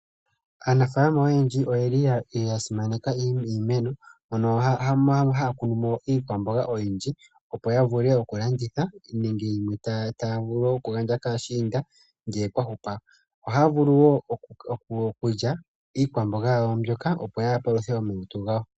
Aanafaalama oyendji oya simaneka iimeno, hono yamwe haya kunu mo iikwamboga oyindji, opo ya vule okulanditha nenge yimwe taya gandja kaashiinda uuna kwa hupa. Ohaya vulu wo okulya iikwamboga yawo mbyoka, opo ya paluthe omalutu gawo.